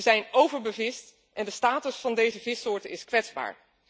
Ze zijn overbevist en de status van deze vissoorten is kwetsbaar.